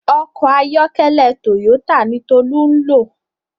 Òkò àyòkèlè tóyótá ni Tolu n ló